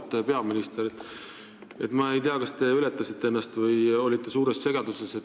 Auväärt peaminister, ma ei tea, kas te ületasite ennast või olite suures segaduses.